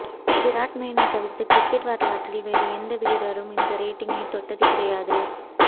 பிராட்மேனைத் தவிர்த்து கிரிக்கெட் வரலாற்றில் வேறு எந்த வீரரும் இந்த ரேட்டிங்கை தொட்டது கிடையாது